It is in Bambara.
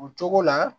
O cogo la